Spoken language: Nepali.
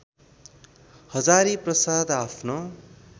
हजारीप्रसाद आफ्नो